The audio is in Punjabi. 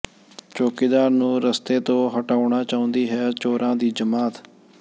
ਚੌਕੀਦਾਰ ਨੂੰ ਰਸਤੇ ਤੋਂ ਹਟਾਉਣਾ ਚਾਹੁੰਦੀ ਹੈ ਚੋਰਾਂ ਦੀ ਜਮਾਤ